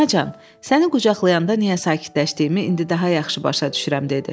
Anacan, səni qucaqlayanda niyə sakitləşdiyimi indi daha yaxşı başa düşürəm dedi.